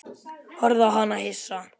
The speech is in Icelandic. Horfði á hana hissa.